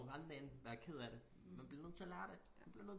Kommer rendende ind være ked af det men bliver nødt til at lære det du bliver nødt